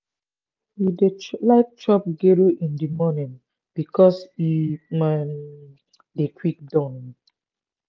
we dey like chop gero in di morning because e um dey quick don.